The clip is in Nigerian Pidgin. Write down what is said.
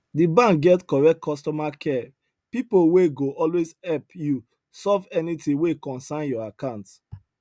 the bank get correct customer care people wey go always help you solve anything wey concern your account